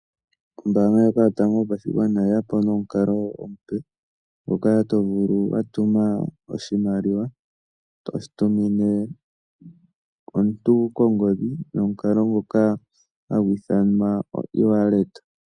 Ombaanga ndjoka Yotango Yopashigwana oye ya po nomukalo omupe ngoka to vulu wa tuma oshimaliwa to shi tumine omuntu kongodhi nomukalo ngoka hagu ithanwa oewallet.